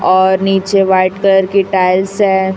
और नीचे white colour की टाइल्स है।